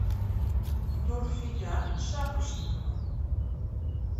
нурфия шапошникова